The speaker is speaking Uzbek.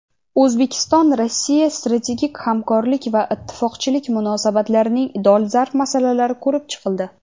O‘zbekiston-Rossiya strategik hamkorlik va ittifoqchilik munosabatlarining dolzarb masalalari ko‘rib chiqildi.